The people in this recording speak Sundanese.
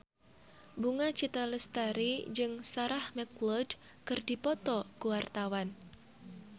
Bunga Citra Lestari jeung Sarah McLeod keur dipoto ku wartawan